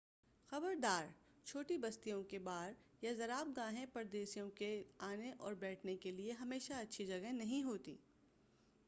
خبردار چھوٹی بستیوں کے بار یا زرابگاہیں پردیسیوں کے لیے آنے اور بیٹھنے کے لیے ہمیشہ اچھی جگہیں نہیں ہوتیں